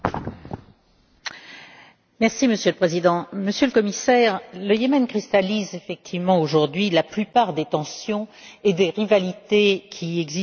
Monsieur le Président, Monsieur le Commissaire, le Yémen cristallise effectivement aujourd'hui la plupart des tensions et des rivalités qui existent au Moyen Orient.